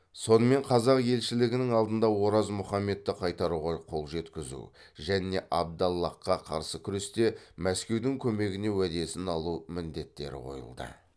сонымен қазақ елшілігінің алдында ораз мұхаммедті қайтаруға қол жеткізу және абдаллахқа қарсы күресте мәскеудің көмегіне уәдесін алу міндеттері қойылды